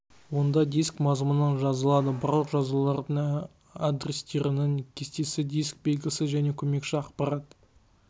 онда диск мазмұны жазылады барлық жазулардың адрестерінің кестесі диск белгісі және көмекші ақпарат